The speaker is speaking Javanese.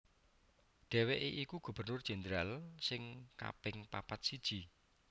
Dhèwèké iku Gubernur Jendral sing kaping papat siji